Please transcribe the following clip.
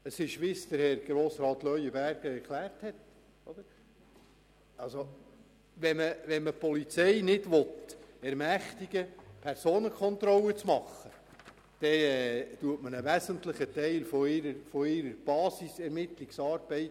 Es ist so, wie es Grossrat Leuenberger erklärt hat: Wenn man die Polizei nicht dazu ermächtigen will, Personenkontrollen durchzuführen, dann verhindert man einen wesentlichen Teil ihrer Basis-Ermittlungsarbeit.